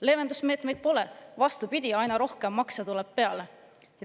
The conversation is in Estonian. Leevendusmeetmeid pole, vastupidi, aina rohkem makse tuleb peale.